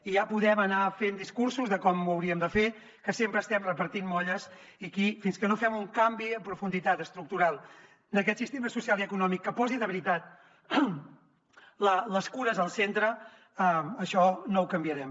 i ja podem anar fent discursos de com ho hauríem de fer que sempre estem repartint molles i aquí fins que no fem un canvi en profunditat estructural d’aquest sistema social i econòmic que posi de veritat les cures al centre això no ho canviarem